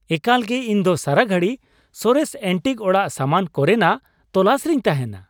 ᱮᱠᱟᱞ ᱜᱮ! ᱤᱧ ᱫᱚ ᱥᱟᱨᱟ ᱜᱷᱟᱹᱲᱤ ᱥᱚᱨᱮᱥ ᱮᱱᱴᱤᱠ ᱚᱲᱟᱜ ᱥᱟᱢᱟᱱ ᱠᱚᱨᱮᱱᱟᱜ ᱛᱚᱞᱟᱥ ᱨᱤᱧ ᱛᱟᱦᱮᱸᱱᱟ ᱾